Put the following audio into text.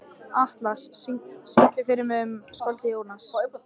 Atlas, syngdu fyrir mig „Um skáldið Jónas“.